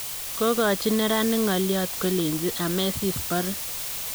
Kogochin neranik ngoliot kolenji "Amesis, borin"